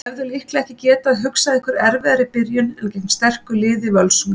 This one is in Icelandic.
Þið hefðuð líklega ekki getað hugsað ykkur erfiðari byrjun en gegn sterku liði Völsungs?